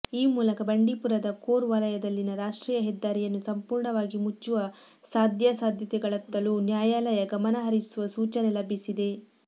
ಈ ಮೂಲಕ ಬಂಡೀಪುರದ ಕೋರ್ ವಲಯದಲ್ಲಿನ ರಾಷ್ಟ್ರೀಯ ಹೆದ್ದಾರಿಯನ್ನು ಸಂಪೂರ್ಣವಾಗಿ ಮುಚ್ಚುವ ಸಾಧ್ಯಾಸಾಧ್ಯತೆಗಳತ್ತಲೂ ನ್ಯಾಯಾಲಯ ಗಮನ ಹರಿಸುವ ಸೂಚನೆ ಲಭಿಸಿದೆ